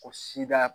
Ko sida